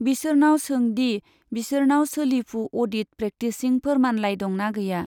बिसोरनाव सों दि बिसोरनाव सोलिफु अडिट प्रेक्टिसिं फोरमानलाइ दंना गैया।